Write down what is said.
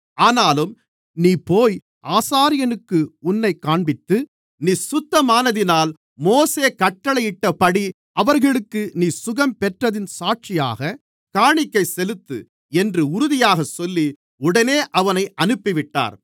ஆனாலும் நீ போய் ஆசாரியனுக்கு உன்னைக் காண்பித்து நீ சுத்தமானதினால் மோசே கட்டளையிட்டபடி அவர்களுக்கு நீ சுகம் பெற்றதின் சாட்சியாக காணிக்கை செலுத்து என்று உறுதியாகச் சொல்லி உடனே அவனை அனுப்பிவிட்டார்